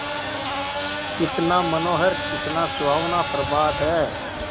कितना मनोहर कितना सुहावना प्रभात है